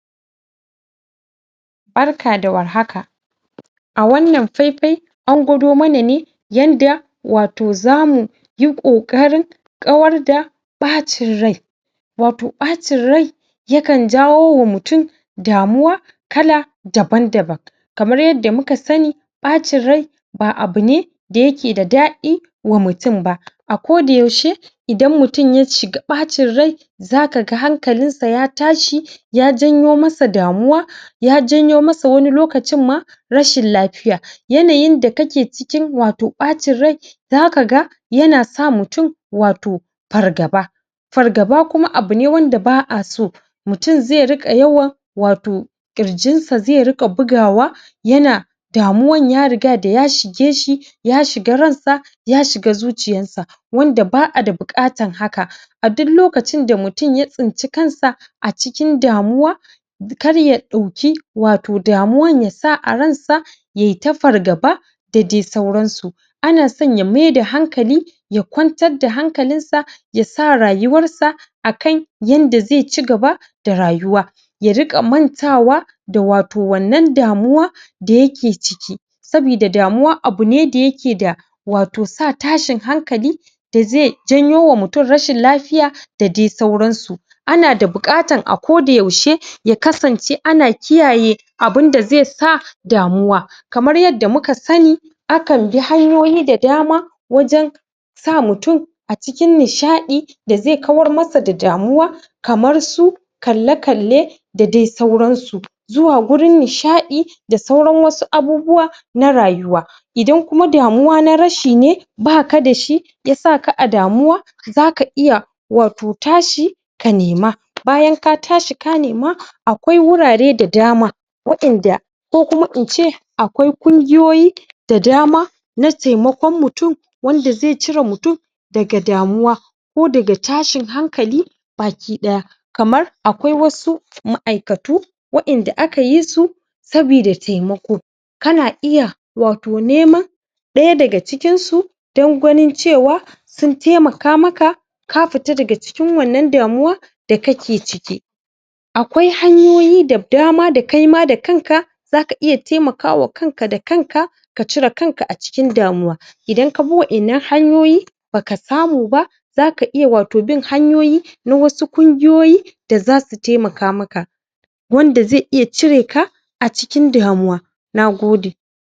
Barka da warhaka! a wannan faifai an gwado mana ne yanda wato zamu yi ƙoƙarin kawar da ɓacin rai wato ɓacin rai yakan jawowa mutum damuwa kala daban-daban kamar yadda muka sani ɓacin rai ba abu ne da yake da daɗi wa mutum ba a koda yaushe idan mutum ya shiga ɓacin rai za ka ga hankalinsa ya tashi ya janwo masa damuwa ya janyo masa wani lokacin ma rashin lafiya yanayinda kake cikin wato ɓacin rai zaka ga yana sa mutum wato fargaba fargaba kuma abu ne wanda ba a so mutum zai riƙa yawan wato ƙirjinsa zai riƙa bugawa yana damuwan ya riga da ya shige shi ya shiga ransa ya shiga zuciyarsa wanda ba a da buƙatar haka a dul lokacin da mutum ya tsinci kansa a cikin damuwa kar ya ɗauki wato damuwa ya sa a ransa yai ta fargaba da dai sauransu ana son ya maida hankali ya kwantar da hankalinsa ya sa rayuwarsa a kai yanda zai ci gaba da rayuwa ya riƙa mantawa da wato wannan damuwa da yake ciki sabida damuwa abu ne da yake da wato sa tashin hankali da zai janyowa mutum rashin lafiya da dai sauransu ana da buƙatar a koda yaushe ya kasance ana kiyaye abinda zai sa damuwa kamar yadda muka sani akan bi hanyoyi da dama wajen sa mutum a cikin nishaɗi da zai kawar masa da damuwa kamar su kalle-kalle da dai sauransu zuwa wurin nishaɗi da sauran wasu abubuwa na rayuwa idan kuwa damuwa na rashi ne ba ka da shi ya saka a damuwa za ka iya wato tashi ka nema bayan ka tashi ka nema akwai wurare da dama wa'yanda ko kuma in ce akwai ƙungiyoyi da dama na taimakon mutum wanda zai cire mutum daga damuwa ko daga tashin hankali baki ɗaya kamar akwai wasu ma'aikatu wa'yanda aka yi su sabida taimako kana iya wato neman ɗaya daga cikinsu don ganin cewa sun taimaka maka ka fita daga cikin wannan damuwa da kake ciki akwai hanyoyi da dama da kai ma da kanka za ka iya taimakawa kanka da kanka ka cire kanka a cikin damuwa idan ka bi wa'yannan hanyoyi ba ka samu ba zaka iya wato bin hanyoyi na wasu kungiyoyi da za su taimaka maka wanda za iya cireka a cikin damuwa. Na gode